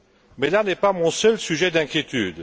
Mais là n'est pas mon seul sujet d'inquiétude.